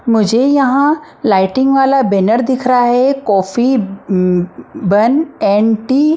मुझे यहां लाइटिंग वाला बैनर दिख रहा है coffee um bun and tea.